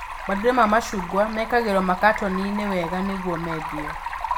Matunda ma macungwa mekagĩrwo makatoni-inĩ wega nĩguo mendio